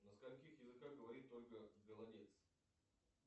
на скольких языках говорит ольга голодец